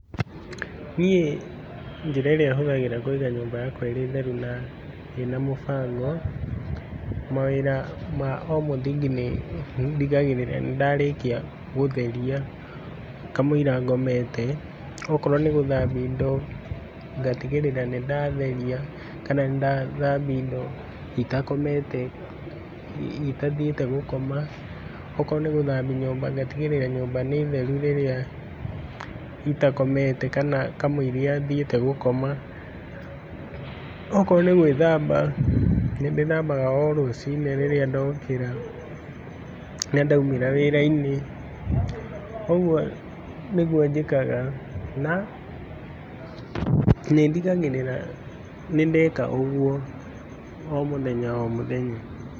Niĩ njĩra ĩria hũthagĩra Kũiga nyũmba yakwa ĩrĩ theru na ĩna mũbango, mawĩra o ma mũthingi ndigagĩrĩra nĩndarĩkia gũtheria, kamũira ngomete, okorwo nĩ gũthambia indo ngatigĩrĩra nĩ ndatheria, kana nĩndathambia indo itakomete itathiĩte gũkoma, okorwo nĩ gũthambia nyũmba, ngatigĩrĩra nyũmba nĩ theru rĩrĩa itakomete, kana kamũira thiĩte gũkoma, okorwo nĩ gwĩthamba, nĩndĩthambaga o rũcinĩ rĩrĩa ndokĩra, na ndaumĩra wĩrainĩ. Ũguo nĩguo njĩkagana na nĩndigagĩrĩra nĩndeka ũguo,o mũthenya o mũthenya.